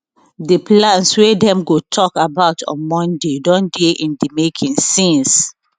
di plans wey dem go tok about on monday don dey in di making since